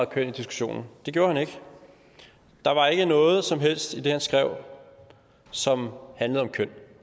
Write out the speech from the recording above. køn i diskussionen det gjorde han ikke der var ikke noget som helst i det han skrev som handlede om køn